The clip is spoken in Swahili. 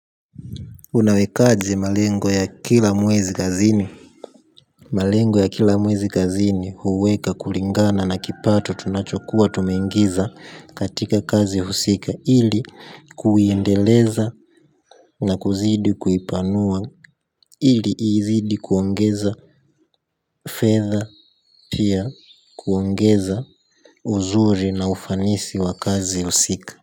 Unawekaje malengo ya kila mwezi kazini. Malengo ya kila mwezi kazini huweka kulingana na kipato tunachokuwa tumeingiza katika kazi husika ili kuiendeleza na kuzidi kuipanua ili iizidi kuongeza fedha, kuongeza uzuri na ufanisi wa kazi usika.